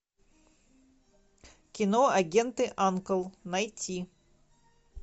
кино агенты анкл найти